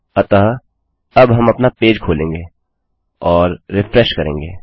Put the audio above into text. अतःअब हम अपना पेज खोलेंगे और रिफ्रेश करेंगे